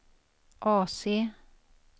AC